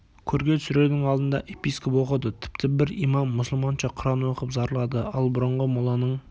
көрге түсірердің алдында епископ оқыды тіпті бір имам мұсылманша құран оқып зарлады ал бұрынғы моланың